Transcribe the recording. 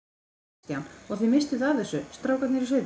Kristján: Og þið vissuð af þessu, strákarnir í sveitinni?